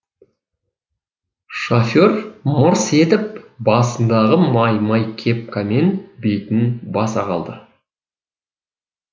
іііофер мырс етіп басындағы май май кепкамен бетін баса қалды